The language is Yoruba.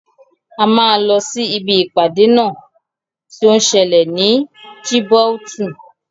A máa lọ sí ibi ìpàdé náà tí ó ń sẹlẹ̀ ní Djibouti.